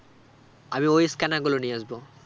আমি ওই scanner গুলো নিয়ে আসবো